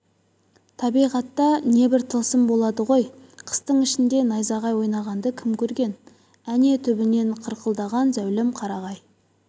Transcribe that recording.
табиғатта небір тылсым болады ғой қыстың ішінде найзағай ойнағанды кім көрген әне түбінен қырқылған зәулім қарағай